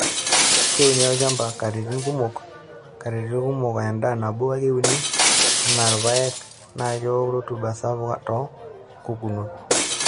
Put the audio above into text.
Keuni olchaba katitin kumok, katitin kumok aa endaa nabo ake euni anaa ilpayek naa kewok rutuba sapuk too nkukukuok.